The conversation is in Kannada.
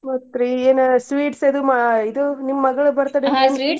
ಮತ್ರಿ ಏನ್ sweets ಅದೂ ಮಾ~ ಇದು ನಿಮ್ ಮಗ್ಳ್ birthday .